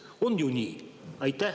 On ju nii?